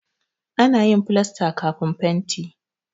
Ana yin filasta kafin fenti.